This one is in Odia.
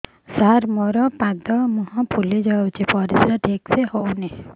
ସାର ମୋରୋ ପାଦ ମୁହଁ ଫୁଲିଯାଉଛି ପରିଶ୍ରା ଠିକ ସେ ହଉନି